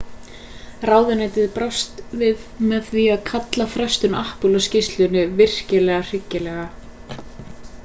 ráðuneytið brást við með því að kalla frestun apple á skýrslunni virkilega hryggilega